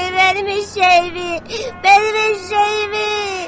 Mənim eşşəyimi, mənim eşşəyimi!